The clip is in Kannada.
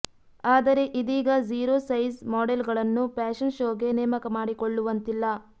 ಆದರೆ ಇದೀಗ ಝೀರೋ ಸೈಝ್ ಮಾಡೆಲ್ ಗಳನ್ನು ಫ್ಯಾಷನ್ ಶೋ ಗೆ ನೇಮಕ ಮಾಡಿಕೊಳ್ಳುವಂತಿಲ್ಲ